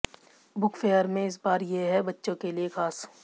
book fair में इस बार ये है बच्चों के लिए खास